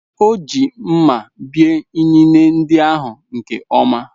O ji mma bie inine ndị ahụ nke ọma